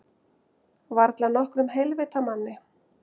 Varla nokkrum heilvita manni.